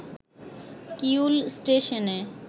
Kiul ষ্টেশনে